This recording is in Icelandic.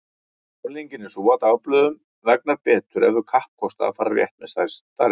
Afleiðingin er sú að dagblöðum vegnar betur ef þau kappkosta að fara rétt með staðreyndir.